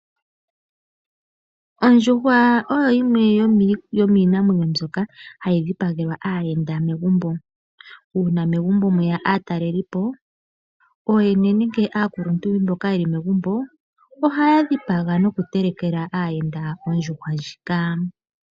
Ondjuhwa oyo yimwe yomiinamwenyo mbyoka hayi dhipagelwa aayenda megumbo. Uuna megumbo mweya aataleli po ooyene nenge aakuluntu mboka yeli megumbo ohaya dhipaga nokutelekela aayenda ondjuhwa ndjika.